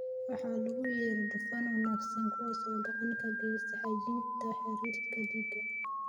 "waxa loogu yeero "dufan wanaagsan", kuwaas oo gacan ka geysta hagaajinta heerarka dhiigga."